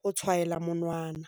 ho tshwaela monwana.